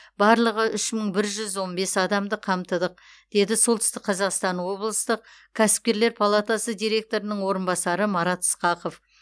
барлығы үш мың бір жүз он бес адамды қамтыдық деді солтүстік қазақстан облыстық кәсіпкерлер палатасы директорының орынбасары марат ысқақов